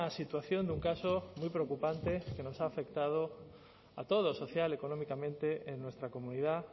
situación de un caso muy preocupante que nos ha afectado a toda la sociedad económicamente en nuestra comunidad